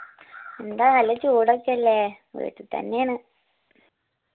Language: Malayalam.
യെന്താ നല്ല ചൂടോക്കോയല്ലേ വീട്ടി തെന്നെയാണ്